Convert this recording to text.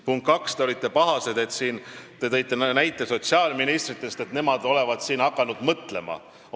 Punkt kaks: te olite pahane ja tõite sotsiaalministrite näite, et nemad olevat siin hakanud omavahel mõtlema.